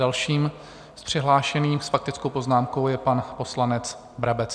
Dalším přihlášeným s faktickou poznámkou je pan poslanec Brabec.